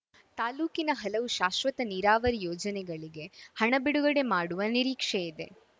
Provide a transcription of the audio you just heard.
ತಾಲೂಕಿನ ಹಲವು ಶಾಶ್ವತ ನೀರಾವರಿ ಯೋಜನೆಗಳಿಗೆ ಹಣ ಬಿಡುಗಡೆ ಮಾಡುವ ನಿರೀಕ್ಷೆ ಇದೆ